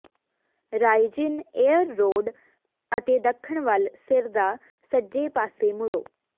ਰਾਇਜਿਨ ਏਰ ਰੋਡ ਅਤੇ ਦੱਖਣ ਵੱਲ ਸਿਰ ਦਾ ਸੱਜੇ ਪਾਸੇ ਮੁੜੋ